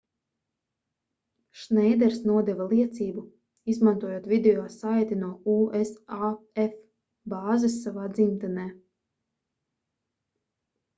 šneiders nodeva liecību izmantojot video saiti no usaf bāzes savā dzimtenē